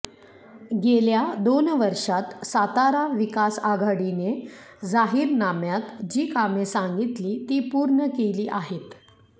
गेल्या दोन वर्षात सातारा विकास आघाडीने जाहीरनाम्यात जी कामे सांगितली ती पूर्ण केली आहेत